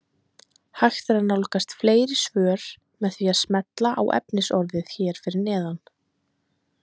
Hægt er að nálgast fleiri svör með því að smella á efnisorðið hér fyrir neðan.